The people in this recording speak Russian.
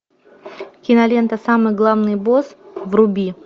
кинолента самый главный босс вруби